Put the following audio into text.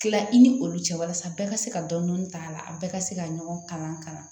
Tila i ni olu cɛ walasa bɛɛ ka se ka dɔni dɔni k'a la a bɛɛ ka se ka ɲɔgɔn kalan ka na